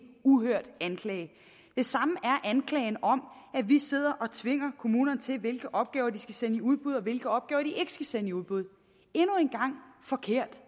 uhørt anklage det samme er anklagen om at vi sidder og tvinger kommunerne til hvilke opgaver de skal sende i udbud og hvilke opgaver de ikke skal sende i udbud endnu en gang forkert